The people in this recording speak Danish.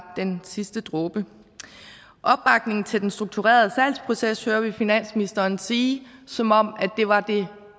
den sidste dråbe opbakningen til den strukturerede salgsproces det hører vi finansministeren sige som om det var det